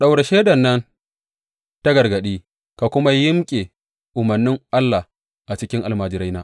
Ɗaura shaidar nan ta gargadi ka kuma yimƙe umarnin Allah a cikin almajiraina.